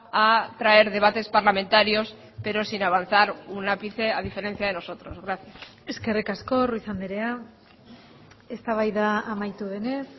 a traer debates parlamentarios pero sin avanzar un ápice a diferencia de nosotros gracias eskerrik asko ruiz andrea eztabaida amaitu denez